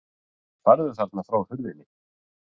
Farðu þarna frá hurðinni!